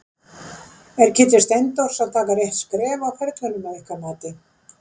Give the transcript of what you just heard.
Er Kiddi Steindórs að taka rétt skref á ferlinum að ykkar mati?